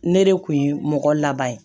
Ne de kun ye mɔgɔ laban ye